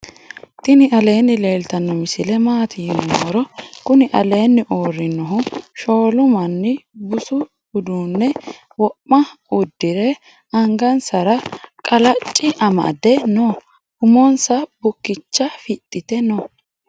tini aleni leltano misile matti yiinumoro. kuuni aleni urinohu shoolu manni busu udune wo'ma uedire angansara qalaci amade noo. umonsa bukicha fixite noo.